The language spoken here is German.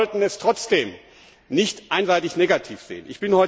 Doch wir sollten es trotzdem nicht einseitig negativ sehen.